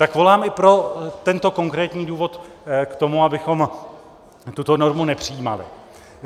Tak volám i pro tento konkrétní důvod k tomu, abychom tuto normu nepřijímali.